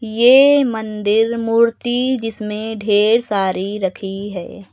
ये मंदिर मूर्ति जिसमें ढेर सारी रखी है।